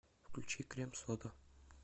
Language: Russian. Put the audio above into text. включи крем сода